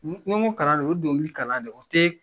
ni n ko kalan do o ye donkili kalan ne o tɛ